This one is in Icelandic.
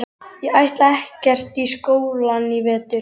Ég ætla ekkert í skólann í vetur.